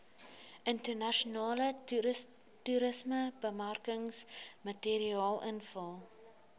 internasionale toerismebemarkingsmateriaal invul